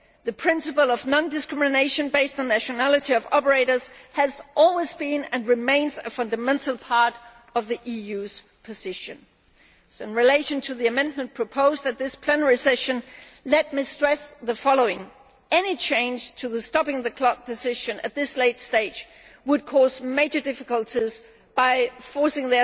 The principle of non discrimination based on the nationality of operators has always been, and remains, a fundamental part of the EU's position. In relation to the amendment proposed at this plenary session, let me stress the following any change to the stopping the clock' decision at this late stage would cause major difficulties by forcing